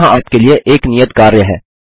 यहाँ आप के लिए एक नियत कार्य है